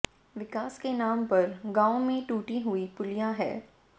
विकास के नाम पर गांव में टूटी हुई पुलिया है